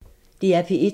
DR P1